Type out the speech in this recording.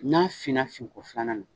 N'a fin na fin ko filanan na